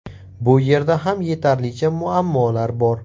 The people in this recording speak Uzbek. Bu yerda ham yetarlicha muammolar bor.